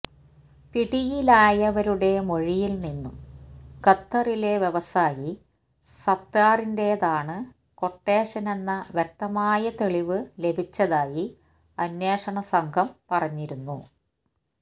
പിടിയിലാവരുടെ മൊഴിയിൽ നിന്നും ഖത്തറിലെ വ്യവസായി സത്താറിന്റേതാണ് ക്വട്ടേഷനെന്ന വ്യക്തമായ തെളിവ് ലഭിച്ചതായി അന്വേഷണം സംഘം പറഞ്ഞിരുന്നു